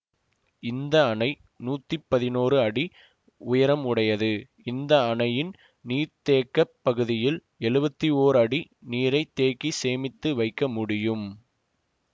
இந்த அணை நூத்தி பதினோரு அடி உயரம் உடையது இந்த அணையின் நீர்த்தேக்கப் பகுதியில் எழுவத்தி ஓர் அடி நீரை தேக்கி சேமித்து வைக்க முடியும்